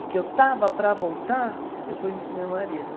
E que eu estava para voltar, eu conheci meu marido.